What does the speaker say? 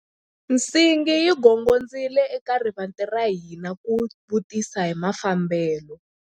Nsingi yi gongondzile eka rivanti ra hina ku vutisa hi mafambelo.